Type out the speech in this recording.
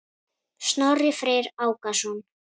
Snorri Freyr Ákason.